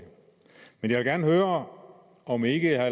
men jeg vil gerne høre om ikke herre